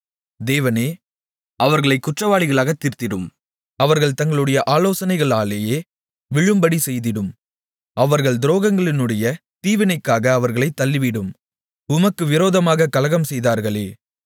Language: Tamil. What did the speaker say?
தேவனே அவர்களைக் குற்றவாளிகளாகத் தீர்த்திடும் அவர்கள் தங்களுடைய ஆலோசனைகளாலேயே விழும்படி செய்திடும் அவர்கள் துரோகங்களினுடைய தீவினைக்காக அவர்களைத் தள்ளிவிடும் உமக்கு விரோதமாகக் கலகம்செய்தார்களே